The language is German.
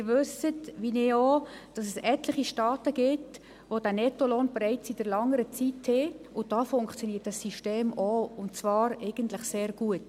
Sie wissen, wie ich auch, dass es etliche Staaten gibt, die diesen Nettolohn bereits seit langer Zeit kennen, und dort funktioniert dieses System auch, und eigentlich sehr gut.